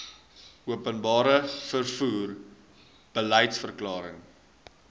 openbare vervoer beliedsverklaring